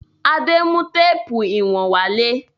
Adé mú téépù ìwọ̀n wálé.